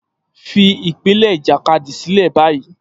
Fi ìpele ìjàkadì sílẹ̀ báyìí